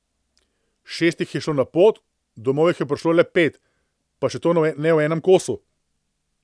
Šest jih je šlo na pot, domov jih je prišlo le pet, pa še to ne v enem kosu.